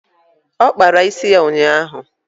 Ọ kpara isi ya ụnyaahụ.